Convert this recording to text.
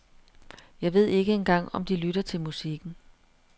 Jeg ved ikke engang om de lytter til musikken.